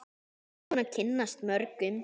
Ertu búin að kynnast mörgum?